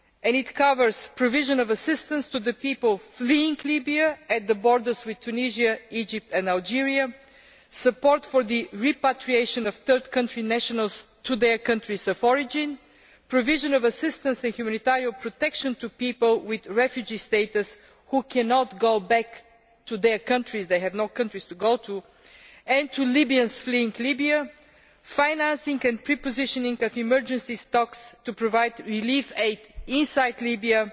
It covers the provision of assistance to people fleeing Libya on the borders with Tunisia, Egypt and Algeria, support for the repatriation of third country nationals to their countries of origin, the provision of assistance and humanitarian protection to people with refugee status who cannot go back to their countries they have no countries to go to and to Libyans fleeing Libya, the financing and prepositioning of emergency stocks to provide relief aid inside Libya,